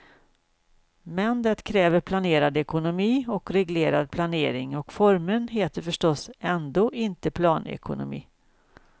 Men det kräver planerad ekonomi och reglerad planering och formeln heter förstås ändå inte planekonomi.